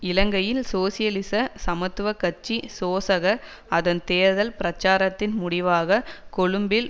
இலங்கையில் சோசியலிச சமத்துவ கட்சி சோசக அதன் தேர்தல் பிரச்சாரத்தின் முடிவாக கொழும்பில்